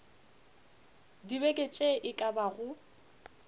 dibeke tše e ka bago